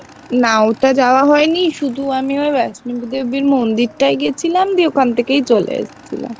না ওটা যায় হয় নি শুধু আমি ওই বৈষ্ণদেবী মন্দিরটাই গেছিলাম দিয়ে ওখান থেকেই চলে এসেছিলাম।